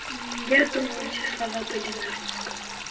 я думаю эти слова были на русском